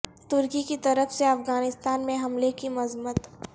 ترکی کی طرف سے افغانستان میں حملے کی مذمت